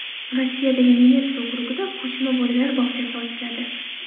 Rossiyadagi Nenets okrugida ko‘chma bolalar bog‘chasi ochiladi.